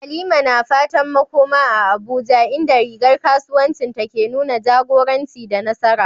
Halima na fatan makoma a Abuja, inda rigar kasuwancinta ke nuna jagoranci da nasara.